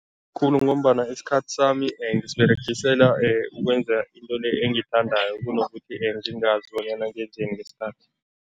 Khulu ngombana isikhathi sami ngisiberegisela ukwenza into le engiyithandako kunokuthi ngingazi bonyana ngenzeni ngesikhathi.